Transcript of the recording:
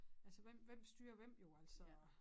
Altså hvem hvem styrer hvem jo altså